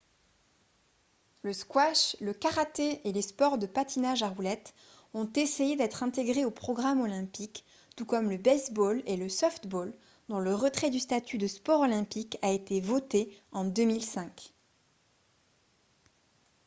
le squash le karaté et les sports de patinage à roulettes ont essayé d'être intégrés au programme olympique tout comme le baseball et le softball dont le retrait du statut de sport olympique a été voté en 2005